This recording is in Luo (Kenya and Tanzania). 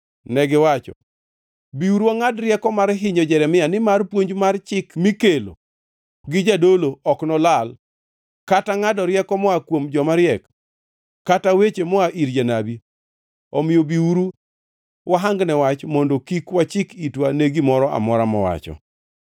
Negiwacho, “Biuru, wangʼad rieko mar hinyo Jeremia; nimar puonj mar chik mikelo gi jadolo ok nolal, kata ngʼado rieko moa kuom joma riek, kata weche moa ir jonabi. Omiyo biuru, wahangne wach kendo kik wachik itwa ne gimoro amora mowacho.”